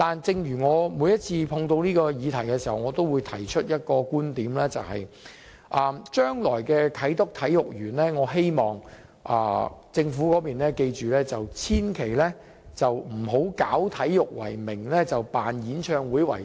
但是，我每一次碰到這議題，都會提出一個觀點，就是我希望政府記着，將來的啟德體育園千萬不要以搞體育為名，辦演唱會為實。